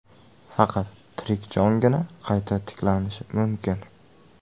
Faqat tirik jongina qayta tiklanishi mumkin.